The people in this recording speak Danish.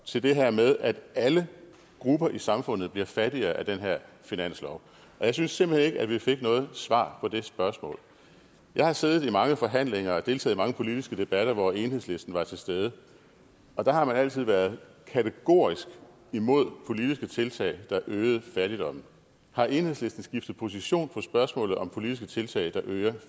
til det her med at alle grupper i samfundet bliver fattigere af den her finanslov og jeg synes simpelt hen ikke at vi fik noget svar på det spørgsmål jeg har siddet i mange forhandlinger og deltaget i mange politiske debatter hvor enhedslisten var til stede og der har man altid været kategorisk imod politiske tiltag der er øgede fattigdommen har enhedslisten skiftet position på spørgsmålet om politiske tiltag der øger